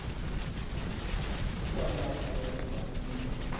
ukwalatha ukuba into